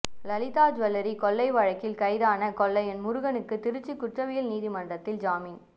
Lalitha jewellery கொள்ளை வழக்கில் கைதான கொள்ளையன் முருகனுக்கு திருச்சி குற்றவியல் நீதிமன்றத்தில் ஜாமீன்